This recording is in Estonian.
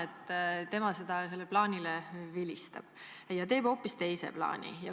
Ta vilistab sellele plaanile ja teeb hoopis teise plaani.